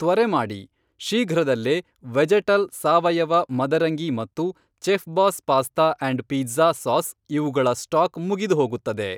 ತ್ವರೆ ಮಾಡಿ, ಶೀಘ್ರದಲ್ಲೇ ವೆಜೆಟಲ್ ಸಾವಯವ ಮದರಂಗಿ ಮತ್ತು Chefboss pasta and pizza sauce ಇವುಗಳ ಸ್ಟಾಕ್ ಮುಗಿದುಹೋಗುತ್ತದೆ.